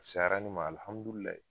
Sara ne ma alihamudulilayi